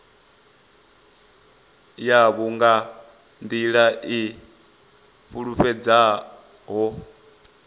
yavho nga nḓila i fulufhedzeaho